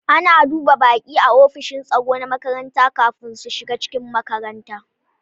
Ana duba baƙi a offishin tsaro na makaranta kafin su shiga cikin makaranta